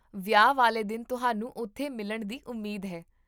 ਵਿਆਹ ਵਾਲੇ ਦਿਨ ਤੁਹਾਨੂੰ ਉੱਥੇ ਮਿਲਣ ਦੀ ਉਮੀਦ ਹੈ